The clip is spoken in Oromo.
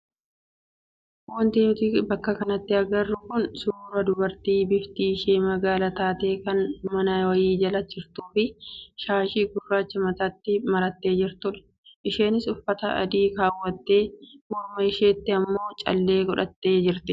Wanti nuti bakka kanatti agarru kun suuraa dubartii bifti ishee magaala taate kan mana wayii jala jirtuu fi shaashii gurraacha mataatti marattee jirtudha. Isheenis uffata adii kaawwattee morma isheetti immoo callee godhattee jirti.